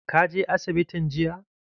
Ka je asibitin jiya?